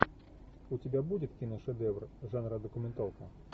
у тебя будет киношедевр жанра документалка